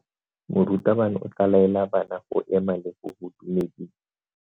Morutabana o tla laela bana go ema le go go dumedisa.